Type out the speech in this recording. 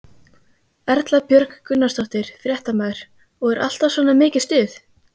Erla Björg Gunnarsdóttir, fréttamaður: Og er alltaf svona mikið stuð?